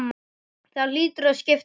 Það hlýtur að skipta máli?